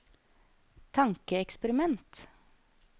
tankeeksperiment